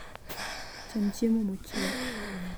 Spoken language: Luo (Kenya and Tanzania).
Chiem chiemo mochiek.